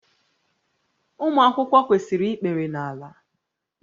Ụmụ akwụkwọ kwesịrị ikpere n'ala